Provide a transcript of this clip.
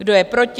Kdo je proti?